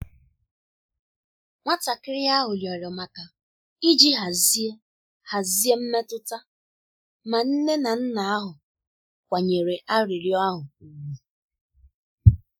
Nwatakịrị ahụ rịọrọ maka iji hazie hazie mmetụta, ma nne na nna ahụ kwanyere arịrịọ ahụ ùgwù.